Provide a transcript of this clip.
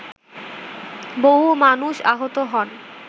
বহু মানুষ আহত হন